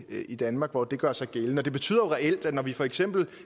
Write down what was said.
i danmark hvor det gør sig gældende og det betyder jo reelt at når vi for eksempel